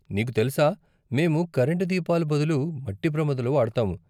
నీకు తెలుసా, మేము కరెంటు దీపాలు బదులు మట్టి ప్రమిదలు వాడతాము.